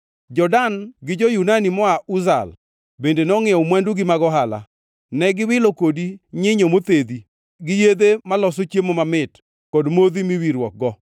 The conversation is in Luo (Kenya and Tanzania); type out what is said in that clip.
“ ‘Jo-Dan gi jo-Yunani moa Uzal bende nongʼiewo mwandugi mag ohala. Ne giwilo kodi nyinyo mothedhi, gi yedhe maloso chiemo mamit kod modhi miwirruokgo.